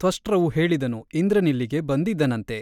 ತ್ವಷ್ಟೃವು ಹೇಳಿದನು ಇಂದ್ರನಿಲ್ಲಿಗೆ ಬಂದಿದ್ದನಂತೆ !